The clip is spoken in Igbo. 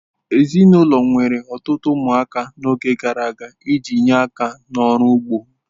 Ezinụlọ nwere ọtụtụ ụmụaka n'oge gara aga iji nye aka n'ọrụ ugbo.